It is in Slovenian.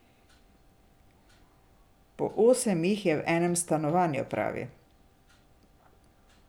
Po osem jih je v enem stanovanju, pravi.